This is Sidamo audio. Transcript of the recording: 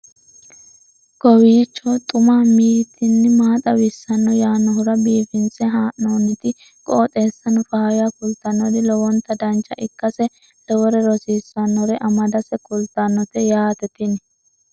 kowiicho xuma mtini maa xawissanno yaannohura biifinse haa'noonniti qooxeessano faayya kultannori lowonta dancha ikkase lowore rosiisannore amadase kultannote yaate tini